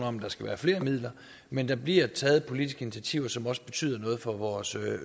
om der skal være flere midler men der bliver taget politiske initiativer som også betyder noget for vores